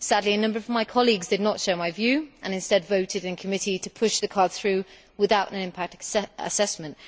Sadly, a number of my colleagues did not share my view and instead voted in committee to push the card through without an impact assessment.